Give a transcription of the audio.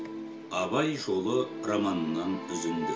абай жолы романынан үзінді